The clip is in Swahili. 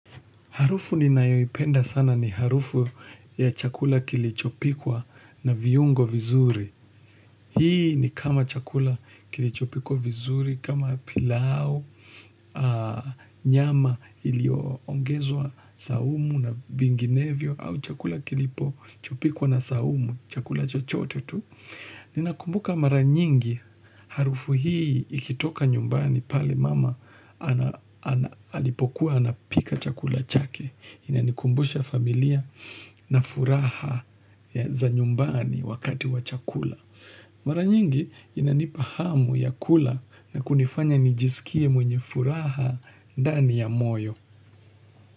Harufu ninayoipenda sana ni harufu ya chakula kilichopikwa na viungo vizuri. Hii ni kama chakula kilichopikwa vizuri, kama pilau, nyama ilioongezwa saumu na vinginevio, au chakula kilipo chopikwa na saumu, chakula chochote tu. Ninakumbuka mara nyingi harufu hii ikitoka nyumbani pale mama alipokuwa anapika chakula chake. Inanikumbusha familia na furaha za nyumbani wakati wachakula. Mara nyingi inanipahamu ya kula na kunifanya nijisikie mwenye furaha dani ya moyo.